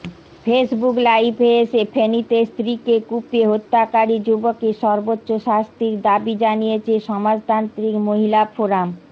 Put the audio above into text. Facebook লাইভে এসে ফেনীতে স্ত্রীকে কুপিয়ে হত্যাকারী যুবকের সর্বোচ্চ শাস্তির দাবি জানিয়েছে সমাজতান্ত্রিক মহিলা ফোরাম